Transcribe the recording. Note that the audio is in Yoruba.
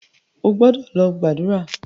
O gbọ́dọ̀ lọ gbàdúrà!